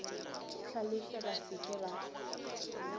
hlalefe ba se ke ba